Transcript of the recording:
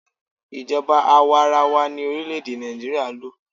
Ijoba àwarawa ni orílẹ̀-èdè Nàìjíríà ń lò.